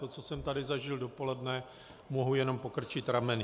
To, co jsem tady zažil dopoledne, mohu jen pokrčit rameny.